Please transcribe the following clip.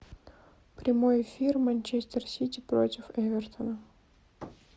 прямой эфир манчестер сити против эвертона